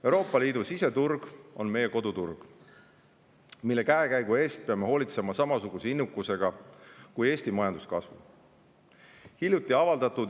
Euroopa Liidu siseturg on meie koduturg, mille käekäigu eest peame hoolitsema samasuguse innukusega kui Eesti majanduskasvu eest.